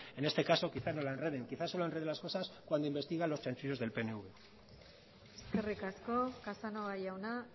en este caso quizás no lo enreden quizás solo enreden las cosas cuando investigan los chanchullos del pnv eskerrik asko casanova jauna